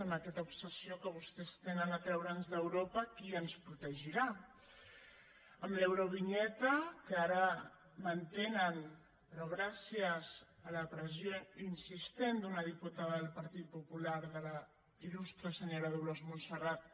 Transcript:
amb aquesta obsessió que vostès trenen a treure’ns d’europa qui ens protegirà amb l’eurovinyeta que ara mantenen però gràcies a la pressió insistent d’una diputada del partit popular de la ilrat